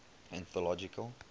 anthological